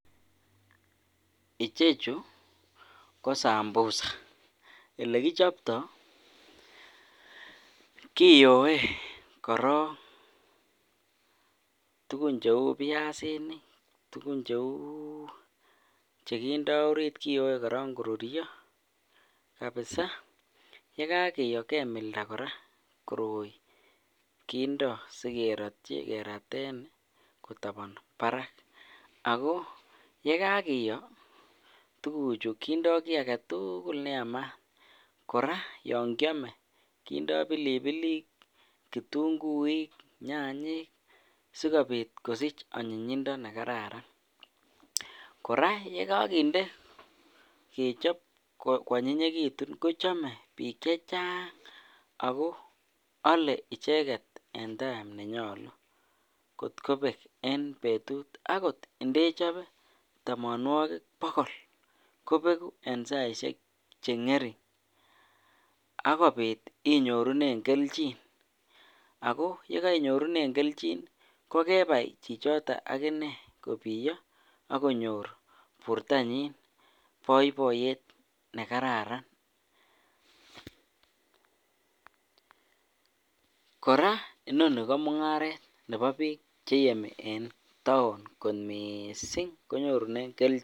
Ichechu ko sambusa, elekichopto kiyoe korong tukun cheuu biasinik, tukun cheuu chekindo oriit kiyoe korong korurio kabisa, yekakiyo kemilda kora koroi kindo sikerotyi keraten kotopon barak ak ko yekakiyo tukuchu kindo kii aketukul neyamat, kora yoon kiome kindo pilipilik, kitung'uik, nyanyik sikobit kosich anyinyindo nekararan, kora yekokinde kechob kwonyinyekitun kochome biik chechang ako olee icheket en time nenyolu kot kobek en betut akot indechobe tomonwokik bokol kobeku en saishek cheng'ering akobit inyorunen kelchin ak ko yekoinyorunen kelchin ko kebai chichoton akinee kobiyo ak konyor bortanyin boiboiyet nekararan, kora inoni ko mung'aret nebo biik cheyemi en taon kot mising konyorunen kelchin.